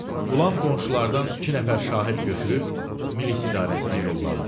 Qulam qonşulardan iki nəfər şahid götürüb Milis idarəsinə yollandı.